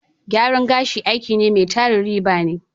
Gyaran gashi aiki ne mai tarin riba ne.